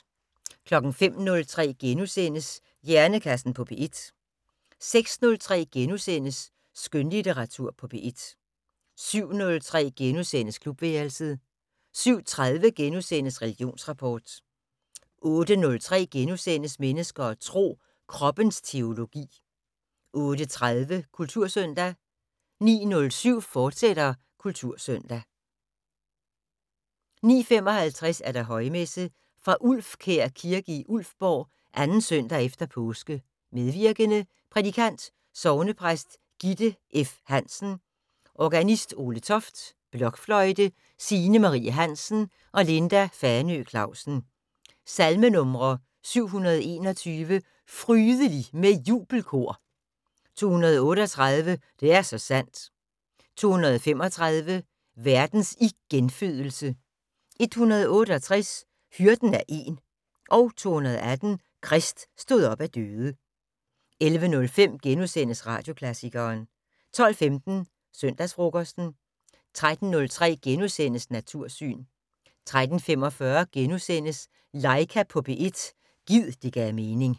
05:03: Hjernekassen på P1 * 06:03: Skønlitteratur på P1 * 07:03: Klubværelset * 07:30: Religionsrapport * 08:03: Mennesker og Tro: Kroppens teologi * 08:30: Kultursøndag 09:07: Kultursøndag, fortsat 09:55: Højmesse - fra Ulfkær Kirke i Ulfborg. 2. søndag efter påske. Medvirkende: Prædikant: Sognepræst Gitte E. Hansen. Organist: Ole Toft. Blokfløjte: Signe Marie Hansen og Linda Fanø Clausen. Salmenumre: 721: "Frydelig med jubelkor". 238: "Det er så sandt". 235: "Verdens igenfødelse". 168 "Hyrden er én". 218 "Krist stod op af døde". 11:05: Radioklassikeren * 12:15: Søndagsfrokosten